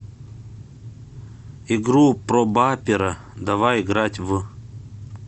игру пробапера давай играть в